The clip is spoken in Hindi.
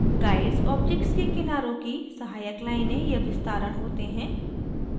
guides objects के किनारों की सहायक लाइनें या विस्तारण होते हैं